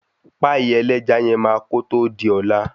Páìk. ẹlẹ́ja yen máa kòtò di ọ̀la.